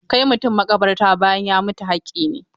Kai mutum maƙabarta bayan ya mutu haƙƙi ne.